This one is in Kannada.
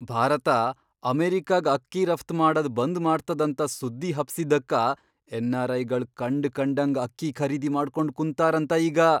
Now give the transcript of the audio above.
ಭಾರತ ಅಮೆರಿಕಾಗ್ ಅಕ್ಕಿ ರಫ್ತ್ ಮಾಡದ್ ಬಂದ್ ಮಾಡ್ತದಂತ ಸುದ್ದಿ ಹಬ್ಸಿದ್ದಕ್ಕ ಎನ್.ಆರ್.ಐ.ಗಳ್ ಕಂಡ್ಕಂಡಂಗ್ ಅಕ್ಕಿ ಖರೀದಿ ಮಾಡ್ಕೊಂಡ್ ಕುಂತಾರಂತ ಈಗ!